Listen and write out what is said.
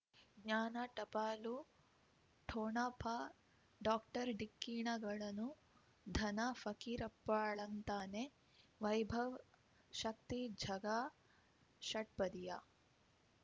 ಜ್ಞಾನ ಟಪಾಲು ಠೋಣಪ ಡಾಕ್ಟರ್ ಢಿಕ್ಕಿ ಣಗಳನು ಧನ ಫಕೀರಪ್ಪ ಳಂತಾನೆ ವೈಭವ್ ಶಕ್ತಿ ಝಗಾ ಷಟ್ಪದಿಯ